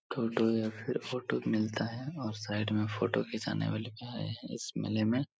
टोटो या फिर ऑटो मिलता है और साइड मे फोटो घिचाने वाले भी आए है इस मेले में।